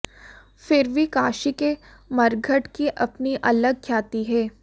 फिर भी काशी के मरघट की अपनी अलग ख्याति है